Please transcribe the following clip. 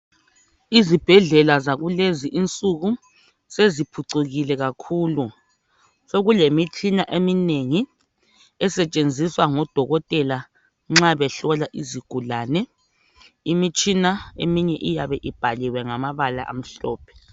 Izibhedlela zakulezi insiku seziphucukile kakhulu sokulemitshina eminengi esetshenzwisa ngodokotela nxa behlola izigulane. Imitshina eminye iyabe ibhaliwe ngamabala amhlophe.